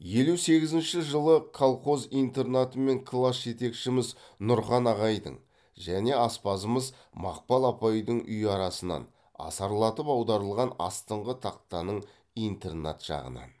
елу сегізінші жылғы колхоз интернаты мен класс жетекшіміз нұрхан ағайдың және аспазымыз мақпал апайдың үйі арасынан асарлатып аударылған астыңғы тақтаның интернат жағынан